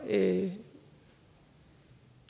at